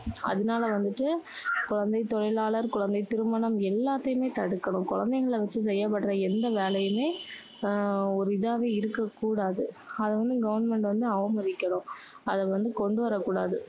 அதனால வந்துட்டு, குழந்தை தொழிலாளர், குழந்தை திருமணம், எல்லாத்தையுமே தடுக்கணும். குழந்தைங்களை வச்சு செய்யப்படுற எந்த வேலையுமே அஹ் ஒரு இதாவே இருக்கக்கூடாது. அதை வந்து government வந்து அவமதிக்கணும். அதை வந்து கொண்டுவரக்கூடாது.